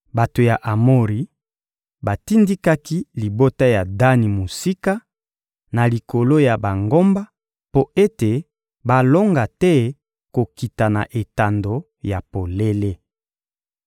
Bato ya Amori batindikaki libota ya Dani mosika, na likolo ya bangomba, mpo ete balonga te kokita na etando ya polele.